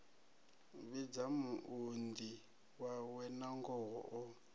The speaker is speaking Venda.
vhidza muunḓi wawe nangoho o